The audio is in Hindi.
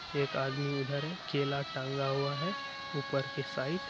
ए आदमी इधर है केला टांगा हुआ है उपर की साइड --